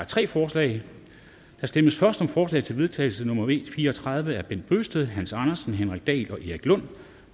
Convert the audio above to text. tre forslag der stemmes først om forslag til vedtagelse nummer v fire og tredive af bent bøgsted hans andersen henrik dahl og erik lund